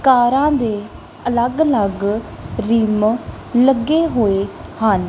ਕਾਰਾ ਦੇ ਅਲਗ ਅਲਗ ਰਿਮ ਲੱਗੇ ਹੋਏ ਹਨ।